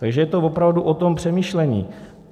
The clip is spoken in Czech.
Takže je to opravdu o tom přemýšlení.